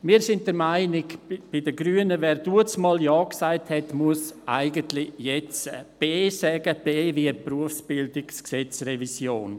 Die Grünen finden, wer einmal A gesagt hat, müsse jetzt auch B sagen – B wie Berufsbildungsgesetzrevision.